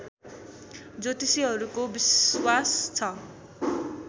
ज्योतिषीहरूको विश्वास छ